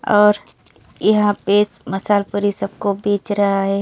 और यहां पे समोसा और पूरी सबको बेच रहा है।